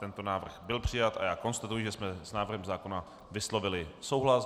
Tento návrh byl přijat, a já konstatuji, že jsme s návrhem zákona vyslovili souhlas.